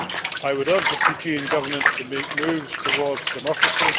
I would urge the Fijian Government to make moves towards democracy.